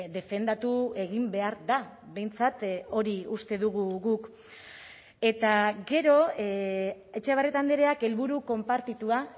defendatu egin behar da behintzat hori uste dugu guk eta gero etxebarrieta andreak helburu konpartitua